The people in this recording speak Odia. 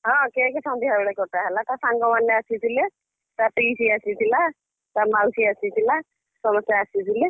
ହଁ cake ସନ୍ଧ୍ୟା ବେଳେ କଟା ହେଲା ତା ସାଙ୍ଗମାନେ ଆସିଥିଲେ, ତା ପିଇସି ଆସିଥିଲା, ତା ମାଉଶୀ ଆସିଥିଲା, ସମସ୍ତେ ଆସିଥିଲେ।